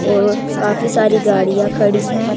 एवं काफी सारी गाड़ियां खड़ी है।